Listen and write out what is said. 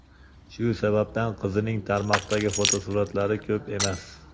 Shu sababdan qizining tarmoqdagi fotosuratlari ko‘p emas.